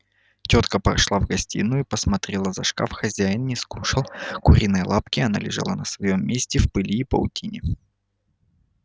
тётка прошла в гостиную и посмотрела за шкаф хозяин не скушал куриной лапки она лежала на своём месте в пыли и паутине